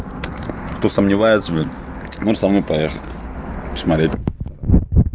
кто сомневается блядь может со мной поехать посмотреть